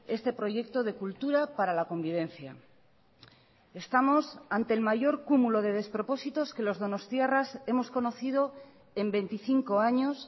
este proyecto de cultura para la convivencia estamos ante el mayor cúmulo de despropósitos que los donostiarras hemos conocido en veinticinco años